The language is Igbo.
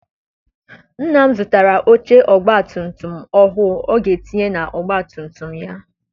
Nna m zụtara oche ọgbatumtum ọhụụ ọ ga etinye na ọgbatumtum ya.